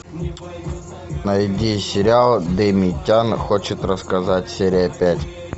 найди сериал дэми тян хочет рассказать серия пять